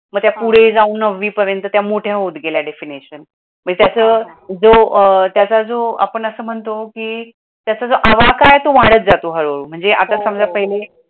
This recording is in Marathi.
मग ते फुडे जाऊन नववीपर्यंत त्या मोठ्या होत गेल्या definition मी त्याचं जो त्याचा जो आपण असं म्हणतो की त्याचा आवाकाय तो वाढत जातो हडू हडू, आता समजा पाहीले